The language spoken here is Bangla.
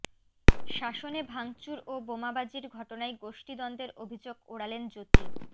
শাসনে ভাঙচুর ও বোমাবাজির ঘটনায় গোষ্ঠীদ্বন্দ্বের অভিযোগ ওড়ালেন জ্যোতি